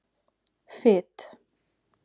Fit